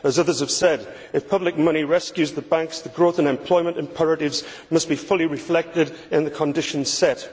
As others have said if public money rescues the banks, the growth and employment imperatives must be fully reflected in the conditions set.